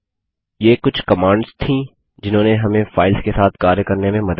ये कुछ कमांड्स थी जिन्होंने हमें फाइल्स के साथ कार्य करने में मदद की